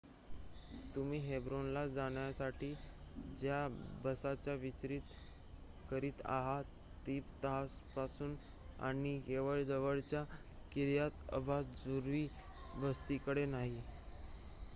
तुम्ही हेब्रोन ला जाण्यासाठी ज्या बसचा विचार करीत आहात ती तपासून पहा आणि केवळ जवळच्या किर्यात अर्बा ज्यू वस्तीकडे नाही